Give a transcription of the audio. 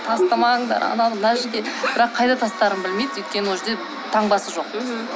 тастамаңдар ананы мына жерге бірақ қайда тастарын білмейді өйткені ол жерде таңбасы жоқ